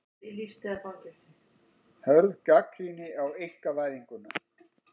Hörð gagnrýni á einkavæðinguna